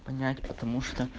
понять потому что